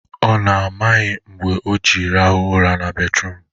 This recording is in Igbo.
Ọ na ọ maghị mgbe o ji rahụ ụra na bedruum?